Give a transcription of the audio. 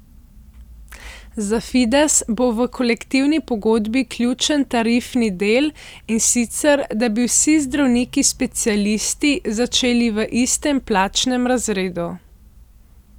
Za Fides bo v kolektivni pogodbi ključen tarifni del, in sicer, da bi vsi zdravniki specialisti začeli v istem plačnem razredu.